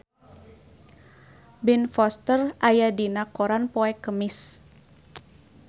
Ben Foster aya dina koran poe Kemis